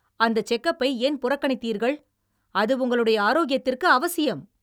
அந்த செக்-அப்பை ஏன் புறக்கணித்தீர்கள், அது உங்களுடைய ஆரோக்கியத்திற்கு அவசியம்!